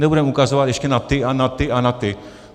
Nebudeme ukazovat ještě na ty a na ty a na ty.